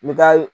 N bɛ taa